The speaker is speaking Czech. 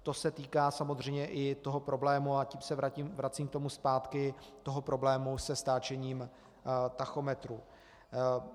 To se týká samozřejmě i toho problému, a tím se vracím k tomu zpátky, toho problému se stáčením tachometru.